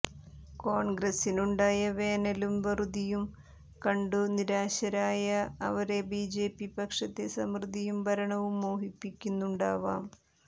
കോൺഗ്രസിനുണ്ടായ വേനലും വറുതിയും കണ്ടു നിരാശരായ അവരെ ബിജെപി പക്ഷത്തെ സമൃദ്ധിയും ഭരണവും മോഹിപ്പിക്കുന്നുണ്ടാവാം